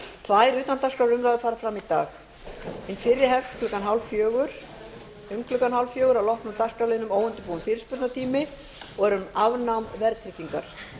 tvær utandagskrárumræður fara fram í dag hin fyrri hefst um klukkan hálffjögur að loknum dagskrárliðnum óundirbúinn fyrirspurnatími og er um afnám verðtryggingar